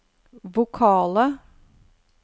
vokale